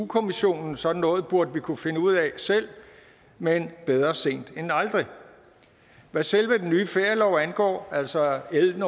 kommissionen sådan noget burde vi kunne finde ud af selv men bedre sent end aldrig hvad selve den nye ferielov angår altså l en